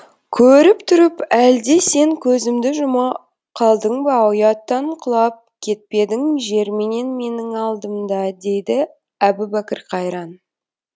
көріп тұрып әлде сен көзіңді жұма қалдың ба ұяттан құлап кетпедің жер менен менің алдымда дейді әбубәкір қайран